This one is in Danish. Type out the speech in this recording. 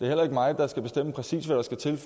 heller ikke mig der skal bestemme præcis hvad der skal til